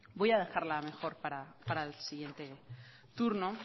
voy a dejarla mejor para el siguiente turno